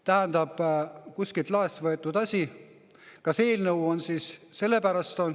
Tähendab, kuskilt laest võetud asi.